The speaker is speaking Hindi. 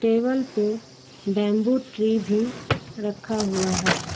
टेबल पे बंबू ट्री भी रखा हुआ है।